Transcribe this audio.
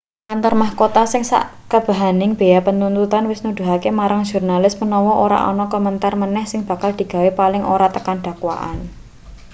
kantor mahkota sing ing sakabehaning bea penuntutan wis nuduhake marang jurnalis menawa ora ana komentar meneh sing bakal digawe paling ora tekan dakwaan